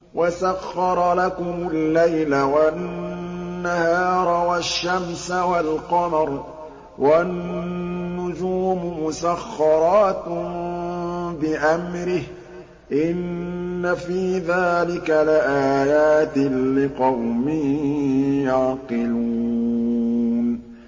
وَسَخَّرَ لَكُمُ اللَّيْلَ وَالنَّهَارَ وَالشَّمْسَ وَالْقَمَرَ ۖ وَالنُّجُومُ مُسَخَّرَاتٌ بِأَمْرِهِ ۗ إِنَّ فِي ذَٰلِكَ لَآيَاتٍ لِّقَوْمٍ يَعْقِلُونَ